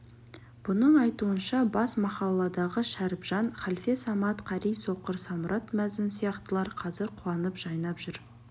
бұның айтуынша бас махалладағы шәріпжан халфе самат қари соқыр самұрат мәзін сияқтылар қазір қуанып жайнап жүр